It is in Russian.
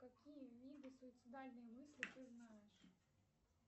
какие виды суицидальные мысли ты знаешь